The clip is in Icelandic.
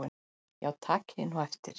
Já takið nú eftir.